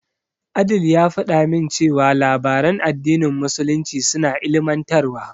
Adeel ya faɗa min cewa labaran addinin musulunci suna ilimantarwa.